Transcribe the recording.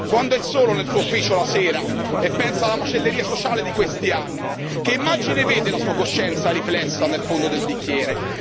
Quando è solo nel suo ufficio la sera e pensa alla macelleria sociale di questi anni che immagine vede la sua coscienza riflessa nel fondo del bicchiere?